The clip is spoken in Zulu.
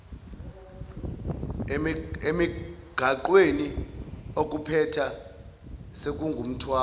emigaqweni okuphetha sekungumthwalo